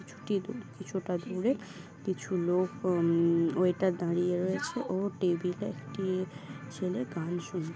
কিছুটি দূর-কিছুটা দূরে কিছু লোক উমম ওয়েটার দাঁড়িয়ে রয়েছে ও টেবিল এ একটি ছেলে গান শুন--